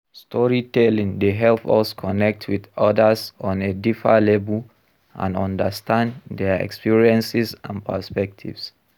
Storytelling dey help us connect with odas on a deeper level, and understand dia experiences and perspectives.